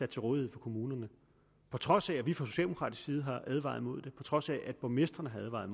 til rådighed for kommunerne på trods af at vi fra socialdemokratisk side har advaret mod det og på trods af at borgmestrene har advaret